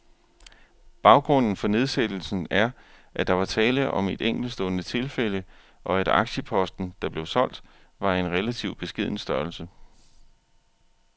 Baggrunden for nedsættelsen er, at der var tale om et enkeltstående tilfælde, og at aktieposten, der blev solgt, var af en relativt beskeden størrelse.